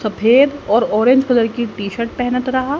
सफेद और orange colour का टी शर्ट पहनत रहा--